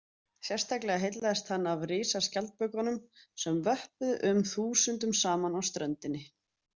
Sérstaklega heillaðist hann af risaskjaldbökunum sem vöppuðu um þúsundum saman á ströndinni.